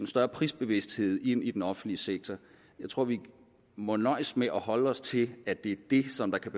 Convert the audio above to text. større prisbevidsthed ind i den offentlige sektor jeg tror vi må nøjes med at holde os til at det er det som kan